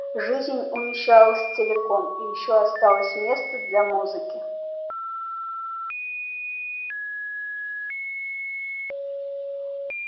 жизнь умещалась целиком и ещё осталось место для музыки